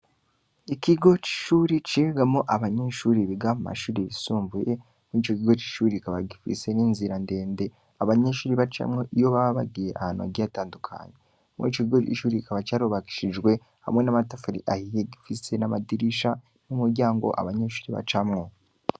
Ikigo c'ishure cigamwo abanyeshure biga mu mashure yisumbuye, mur'ico kigo c'ishure kikaba gifise inzira ndende abanyeshure bacamwo iyo baba bagiye ahantu hagiye hatandukanye, muri ico kigo c'ishure kikaba carubakishijwe hamwe n'amatafari ahiye gifise n'amadirisha n'umuryango abanyeshure bacamwo.